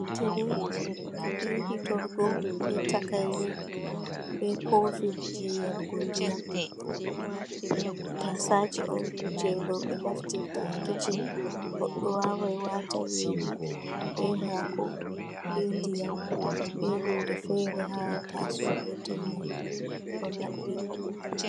Tire be hitorgo, be takaire be kofi jei yarugo ndiyam. Tasaaje on jei rowɓe naftirta ha kicin. Goɗɗo wawai wata nyiri, be haako, be ndiyam, be hunde fere ha taaso gotel mai, ɗo maɓɓi.